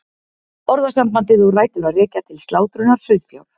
Orðasambandið á rætur að rekja til slátrunar sauðfjár.